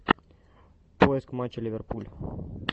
поиск матча ливерпуль